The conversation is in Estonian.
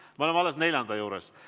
Me oleme alles neljanda juures.